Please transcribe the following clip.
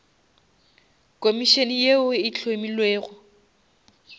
komišene yeo e hlomilwego